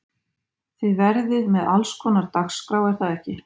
Þið verðið með allskonar dagskrá er það ekki?